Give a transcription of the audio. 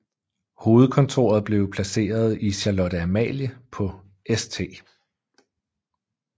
Hovedkontoret blev placeret i Charlotte Amalie på St